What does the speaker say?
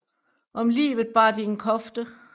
Om livet bar de en kofte